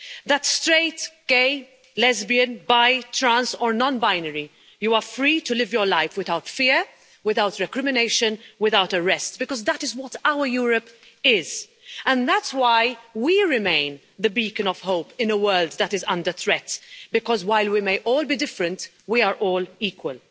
That straight, gay, lesbian, bi, trans or non binary, you are free to live your life without fear, without recrimination, without arrest, because that is what our Europe is, and that's why we remain the beacon of hope in a world that is under threat, because while we may all be different we are all equal.